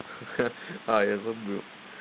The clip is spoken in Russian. ха-ха а я забыл